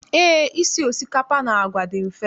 Eé, isi osikapa na àgwà dị mfe.